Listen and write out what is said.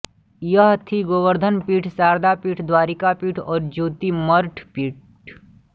यह थीं गोवर्धन पीठ शारदा पीठ द्वारिका पीठ और ज्योतिर्मठ पीठ